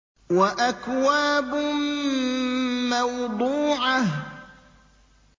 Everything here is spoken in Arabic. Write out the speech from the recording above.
وَأَكْوَابٌ مَّوْضُوعَةٌ